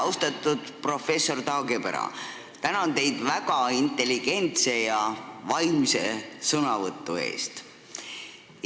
Austatud professor Taagepera, tänan teid väga intelligentse ja vaimse sõnavõtu eest!